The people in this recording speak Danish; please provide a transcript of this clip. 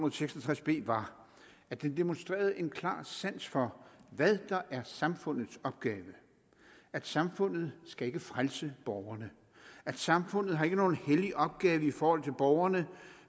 og seks og tres b var at den demonstrerede en klar sans for hvad der er samfundets opgave at samfundet skal frelse borgerne at samfundet ikke har nogen hellig opgave i forhold til borgerne